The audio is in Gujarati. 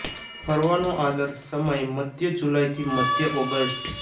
ફરવાનો આદર્શ સમય મદ્ય જુલાઈ થી મધ્ય ઓગસ્ટ